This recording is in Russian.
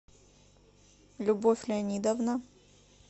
любовь леонидовна